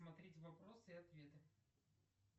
смотреть вопросы и ответы